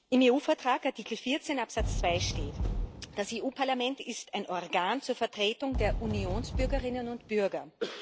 Im EU Vertrag, Artikel 14 Absatz 2, steht Das EU Parlament ist ein Organ zur Vertretung der Unionsbürgerinnen und bürger.